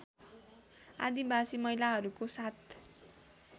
आदिवासी महिलाहरूको साथ